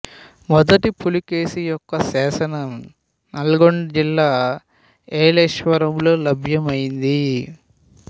మొదటి పులకేశి యొక్క శాసనం నల్గొండ జిల్లా ఏలేశ్వరంలో లభ్యమైంది